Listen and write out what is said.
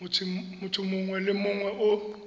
motho mongwe le mongwe o